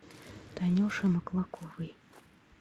танюше маклаковой